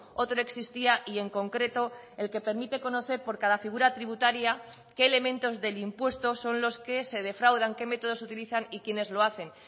otro existía y en concreto el que permite conocer por cada figura tributaria qué elementos del impuesto son los que se defraudan qué métodos utilizan y quiénes lo hacen